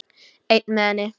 Einn með henni.